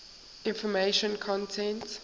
information content